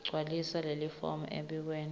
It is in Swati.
gcwalisa lelifomu embikwe